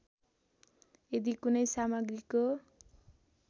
यदि कुनै सामग्रीको